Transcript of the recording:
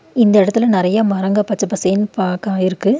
இந்த எடத்துல நெறைய மரங்க பச்ச பசேன்னு பாக்க இருக்கு.